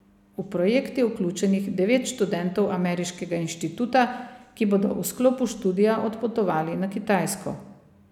V projekt je vključenih devet študentov ameriškega inštituta, ki bodo v sklopu študija odpotovali na Kitajsko.